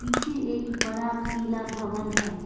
पीछे एक बड़ा पीला भवन है।